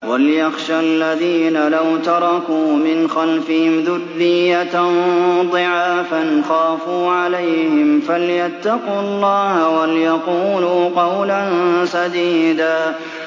وَلْيَخْشَ الَّذِينَ لَوْ تَرَكُوا مِنْ خَلْفِهِمْ ذُرِّيَّةً ضِعَافًا خَافُوا عَلَيْهِمْ فَلْيَتَّقُوا اللَّهَ وَلْيَقُولُوا قَوْلًا سَدِيدًا